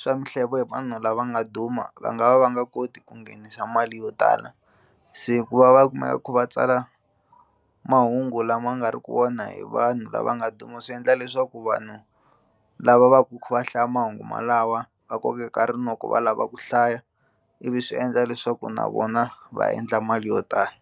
swa mihlevo hi vanhu lava nga duma va nga va va nga koti ku nghenisa mali yo tala se ku va va kumeka va kha va tsala mahungu lama nga ri ku wona hi vanhu lava nga duma swi endla leswaku vanhu lava va va hlaya mahungu malawa va kokeka rinoko va lava ku hlaya ivi swi endla leswaku na vona va endla mali yo tala.